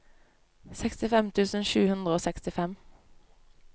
sekstifem tusen sju hundre og sekstifem